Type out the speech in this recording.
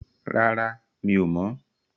Rárá, mi ò mọ̀.